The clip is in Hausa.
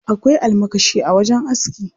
Akwai almakashi a wajen aski.